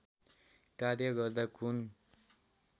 कार्य गर्दा कुन